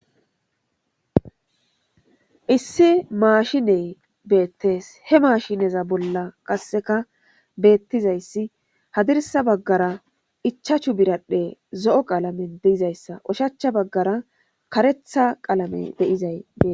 Issi maasshshine beettees. He mashshineza bolla qasseka beetizayssi hadirssa baggara ichachchu biradhdhe zo7o qalamen dizayssa ushshacha baggara kareththa qalame de7izay beettees.